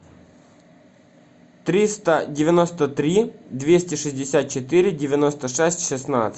триста девяносто три двести шестьдесят четыре девяносто шесть шестнадцать